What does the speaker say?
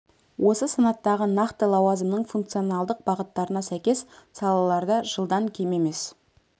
осы санаттағы нақты лауазымның функционалдық бағыттарына сәйкес салаларда жылдан кем емес